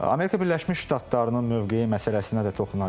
Amerika Birləşmiş Ştatlarının mövqeyi məsələsinə də toxunacağıq.